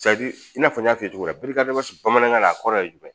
i n'a fɔ n y'a f'i ye cogo min na bamanankan na a kɔrɔ ye jumɛn